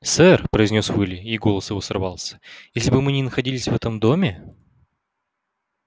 сэр произнёс уилли и голос его сорвался если бы мы не находились в этом доме